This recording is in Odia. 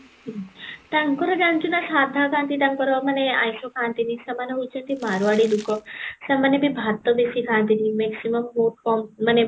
ହୁଁ ତାଙ୍କର ଜାଣିଚୁ ନା ସାଧା ଖାଣ୍ଟି ତାଙ୍କର ସେମାନେ ଆଇଁସ ଖାଆନ୍ତିନୀ, ସେମାନେ ହୋଉଛନ୍ତି ମାରୱାଡି ଲୋକ ସେମାନେ ବି ଭାତ ବେଶୀ ଖାଆନ୍ତିନୀ maximum ବହୁତ କମ ମାନେ